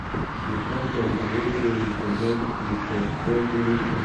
di conference bin also recommend to um suspend anytin